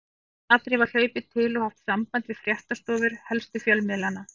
Í snatri var hlaupið til og haft samband við fréttastofur helstu fjölmiðlanna.